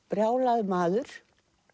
brjálaður maður